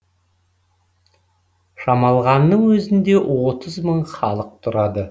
шамалғанның өзінде отыз мың халық тұрады